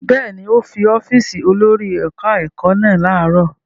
Bẹ́ẹ̀ ni, ó fi ọ́fíísì olórí ẹ̀ka-ẹ̀kọ́ lẹ̀ láàárọ̀.